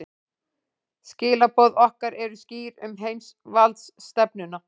Skilaboð okkar eru skýr um heimsvaldastefnuna